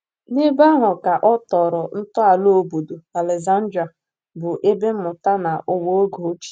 N'ebe ahụ ka ọ tọrọ ntọala obodo Alezandrịa, bụ ebe mmụta na ụwa oge ochie.